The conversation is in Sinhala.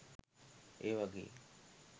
ඒ වගේ